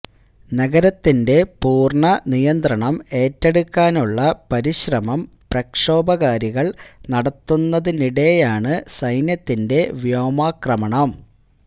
നഗരത്തിന്റെ പൂര്ണ നിയന്ത്രണം ഏറ്റെടുക്കാനുള്ള പരിശ്രമം പ്രക്ഷോഭകാരികള് നടത്തുന്നതിനിടെയാണ് സൈന്യത്തിന്റെ വ്യോമാക്രമണം